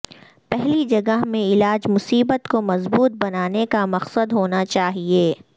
پہلی جگہ میں علاج مصیبت کو مضبوط بنانے کا مقصد ہونا چاہئے